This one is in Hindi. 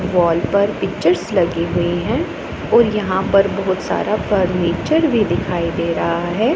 वॉल पर पिक्चर्स लगी हुई हैं और यहां पर बहोत सारा फर्नीचर भी दिखाई दे रहा है।